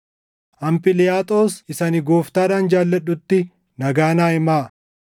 Amphiliyaaxos isa ani Gooftaadhaan jaalladhutti nagaa naa himaa.